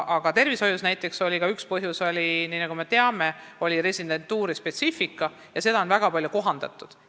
Aga tervishoius oli üks põhjus, nagu me teame, ka residentuuri spetsiifika, mida on nüüdseks väga palju kohandatud.